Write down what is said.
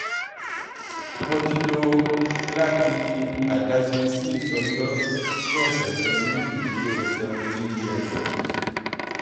mo ti lo lati adaṣe six ọjọ ni ọsẹ kan ni iduro seventeen years